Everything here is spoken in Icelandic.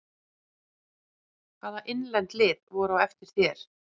Hvaða innlend lið voru á eftir þér?